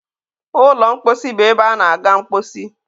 ụlọ mkposi bụ ebe a na -aga mkposi.